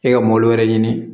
E ka wɛrɛ ɲini